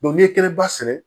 n'i ye kɛnɛba sɛnɛ